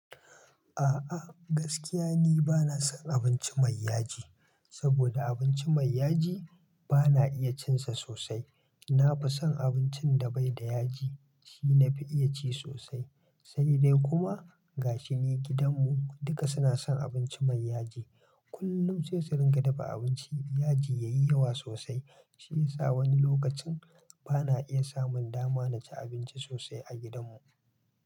A'a gaskiya ni bana son abinci mai yaji, saboda abinci mai yaji bana iya cinsa sosai. Na fi son abincin da bai da yaji, shi na fi iya ci sosai. Sai dai kuma gashi ni gidan mu duka suna son abinci mai yaji. Kullum sai su ringa dafa abinci yaji yayi yawa sosai. Shi yasa wani lokacin bana iya samun dama na ci abinci sosai a gidan mu.